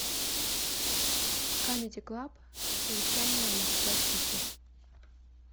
камеди клаб совещание в москва сити